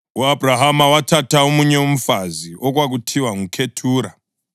U-Abhrahama wathatha omunye umfazi okwakuthiwa nguKhethura.